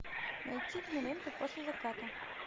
найти киноленту после заката